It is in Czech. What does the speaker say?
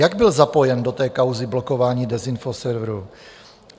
Jak byl zapojen do té kauzy blokování dezinfoserverů?